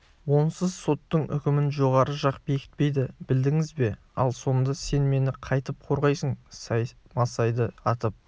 онсыз соттың үкімін жоғары жақ бекітпейді білдіңіз бе ал сонда сен мені қайтіп қорғайсың саймасайды атып